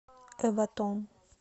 эватон